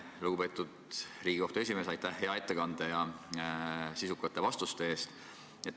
Lugupeetud Riigikohtu esimees, aitäh hea ettekande ja sisukate vastuste eest!